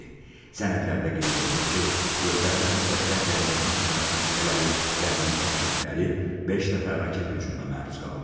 Sənədlərdə qeyd olunur ki, göstərilən müddətdə Gəncənin yaşayış məntəqələri və mülki obyektləri beş dəfə raket hücumuna məruz qalıb.